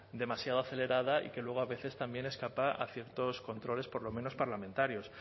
demasiado acelerada y que luego a veces también escapa a ciertos controles por lo menos parlamentarios